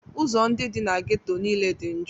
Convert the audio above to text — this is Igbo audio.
Ụzọ ndị dị na ghetto niile dị njọ.